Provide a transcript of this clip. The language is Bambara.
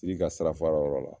Siri ka sira fara yɔrɔ la